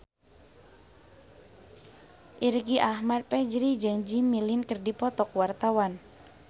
Irgi Ahmad Fahrezi jeung Jimmy Lin keur dipoto ku wartawan